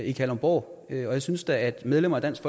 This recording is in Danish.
i kalundborg og jeg synes da at medlemmer af dansk